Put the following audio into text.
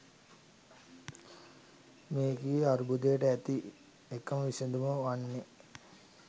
මෙකී අර්බුදයට ඇති එකම විසඳුම වන්නේ